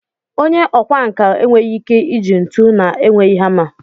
Onye ọkwá nkà enweghị ike iji ntu na-enweghị hama